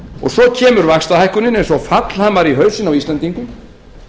svo kemur vaxtahækkunin eins og fallhamar í hausinn á íslendingum